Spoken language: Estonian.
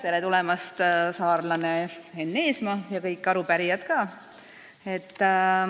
Tere tulemast, saarlane Enn Eesmaa ja kõik arupärijad ka!